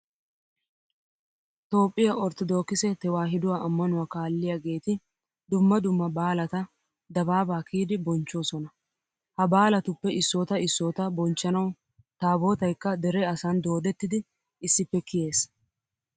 Toophphiya orttodookise tewaahiduwa ammanuwa kaalliyageeti dumma dumma baalata dabaabaa kiyidi bonchchoosona. Ha baalatuppe issoota issoota bonchchanawu taabootaykka dere asan doodettidi issippe kiyees.